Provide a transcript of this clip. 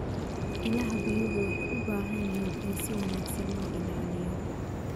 Ilaha biyuhu waxay u baahan yihiin in si wanaagsan loo ilaaliyo.